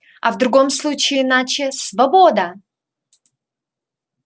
а в другом случае иначе свобода